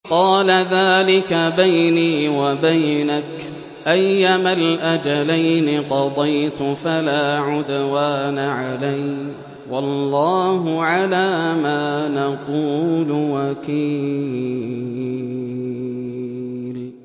قَالَ ذَٰلِكَ بَيْنِي وَبَيْنَكَ ۖ أَيَّمَا الْأَجَلَيْنِ قَضَيْتُ فَلَا عُدْوَانَ عَلَيَّ ۖ وَاللَّهُ عَلَىٰ مَا نَقُولُ وَكِيلٌ